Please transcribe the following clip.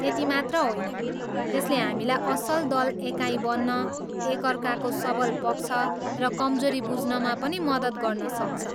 त्यति मात्र होइन, यसले हामीलाई असल दल एकाइ बन्न, एकअर्काको सबल पक्ष र कमजोरी बुझ्नमा पनि मद्दत गर्न सक्छ।